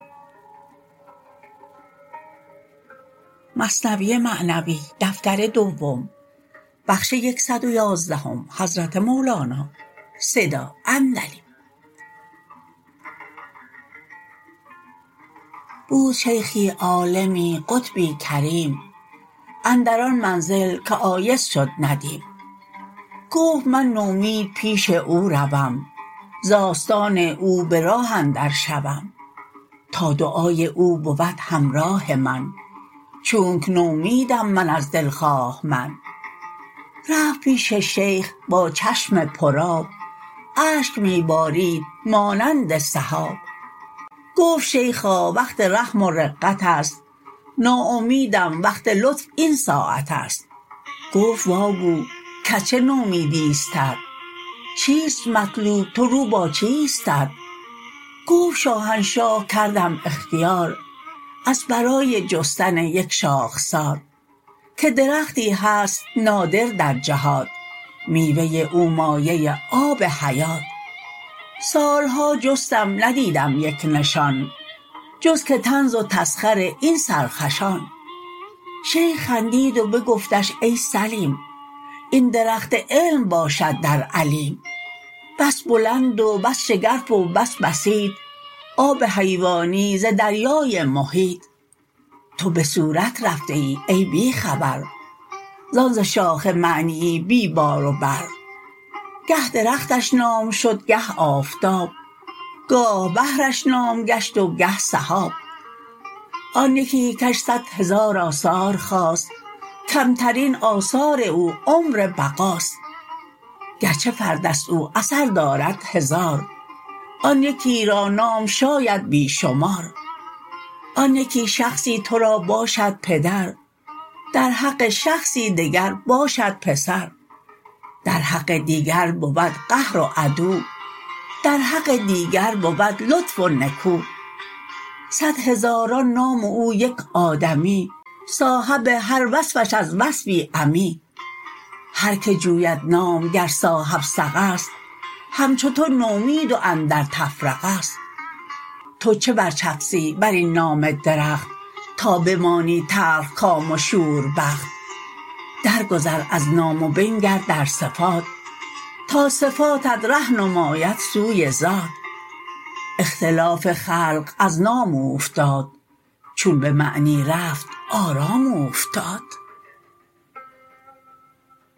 بود شیخی عالمی قطبی کریم اندر آن منزل که آیس شد ندیم گفت من نومید پیش او روم ز آستان او به راه اندر شوم تا دعای او بود همراه من چونک نومیدم من از دلخواه من رفت پیش شیخ با چشم پر آب اشک می بارید مانند سحاب گفت شیخا وقت رحم و رقتست ناامیدم وقت لطف این ساعتست گفت واگو کز چه نومیدیستت چیست مطلوب تو رو با چیستت گفت شاهنشاه کردم اختیار از برای جستن یک شاخسار که درختی هست نادر در جهات میوه او مایه آب حیات سالها جستم ندیدم یک نشان جز که طنز و تسخر این سرخوشان شیخ خندید و بگفتش ای سلیم این درخت علم باشد در علیم بس بلند و بس شگرف و بس بسیط آب حیوانی ز دریای محیط تو بصورت رفته ای ای بی خبر زان ز شاخ معنیی بی بار و بر گه درختش نام شد گه آفتاب گاه بحرش نام گشت و گه سحاب آن یکی کش صد هزار آثار خاست کمترین آثار او عمر بقاست گرچه فردست او اثر دارد هزار آن یکی را نام شاید بی شمار آن یکی شخصی تو را باشد پدر در حق شخصی دگر باشد پسر در حق دیگر بود قهر و عدو در حق دیگر بود لطف و نکو صد هزاران نام و او یک آدمی صاحب هر وصفش از وصفی عمی هر که جوید نام گر صاحب ثقه ست همچو تو نومید و اندر تفرقه ست تو چه بر چفسی برین نام درخت تا بمانی تلخ کام و شوربخت در گذر از نام و بنگر در صفات تا صفاتت ره نماید سوی ذات اختلاف خلق از نام اوفتاد چون به معنی رفت آرام اوفتاد